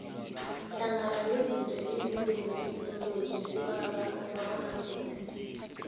hlangana nezinto ezize netheknoloji kubalwa umabonakude